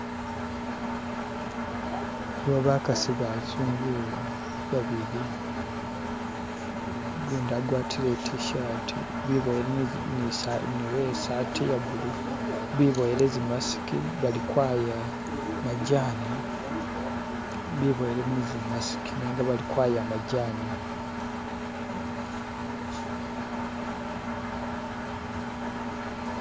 Aliwo bakasi bazungu wo babili, ugundi agwatile i't-shati nuwesati ye'bulu, biboyile tsimasiki balikwaya majani.